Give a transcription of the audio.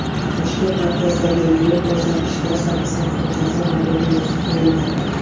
Toshkent markazidagi yo‘l ko‘rsatkichda Shahrisabz ko‘chasi noto‘g‘ri yozib qo‘yildi.